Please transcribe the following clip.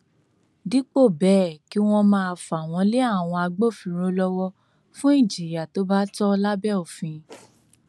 dípò bẹẹ kí wọn máa fà wọn lé àwọn agbófinró lọwọ fún ìjìyà tó bá tọ lábẹ òfin